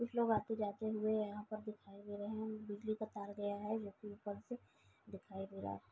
कुछ लोग आते जाते हुए यहाँ दिखाई दे रहे है। बिजली का तार गया है जो कि ऊपर से दिखाई दे रहा है।